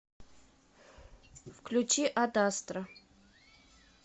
включи ад астра